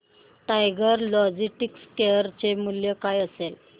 tiger Logistics share चे मूल्य काय असेल